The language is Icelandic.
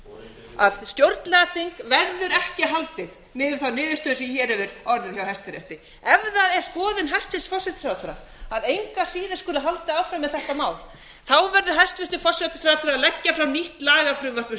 fyrir að stjórnlagaþing verður ekki haldið miðað við þær niðurstöður sem hér hafa orðið hjá hæstarétti ef það er skoðun hæstvirtur forsætisráðherra að engu að síður skuli halda áfram með þetta mál þá verður hæstvirtur forsætisráðherra að leggja fram nýtt lagafrumvarp um